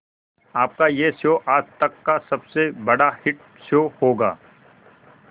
आपका यह शो आज तक का सबसे बड़ा हिट शो होगा